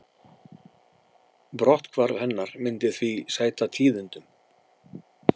Brotthvarf hennar myndi því sæta tíðindum